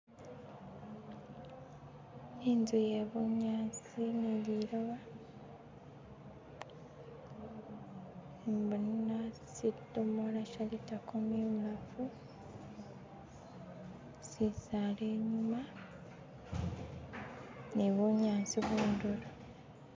Inzu iye bunyasi ni lilioba, imbona sidomola sha litakuumi ibulaafu, shisaala inyuuma, ni bunyaasi kunduro